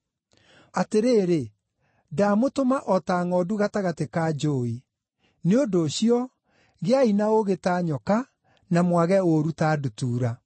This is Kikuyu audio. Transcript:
Atĩrĩrĩ ndamũtũma o ta ngʼondu gatagatĩ ka njũũi. Nĩ ũndũ ũcio, gĩai na ũũgĩ ta nyoka, na mwage ũũru ta ndutura.